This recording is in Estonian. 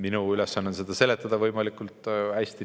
Minu ülesanne on seda kõike seletada võimalikult hästi.